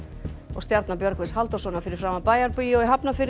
stjarna Björgvins Halldórssonar fyrir framan Bæjarbíó í Hafnarfirði